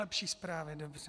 Lepší zprávy, dobře.